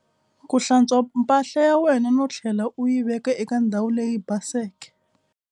Ku hlantswa mpahla ya wena no tlhela u yi veka eka ndhawu leyi baseke.